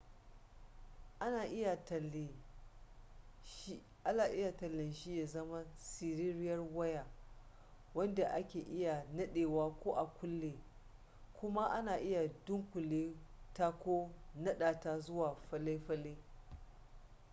ana iya tale shi ya zama siririyar waya wadda ake iya nadewa ko a kulle kuma ana iya dunkule ta ko nada ta zuwa falle falle